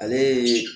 Ale ye